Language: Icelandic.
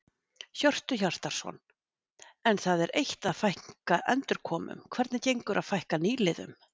Hjörtu Hjartarson: En það er eitt að fækka endurkomum, hvernig gengur að fækka nýliðum?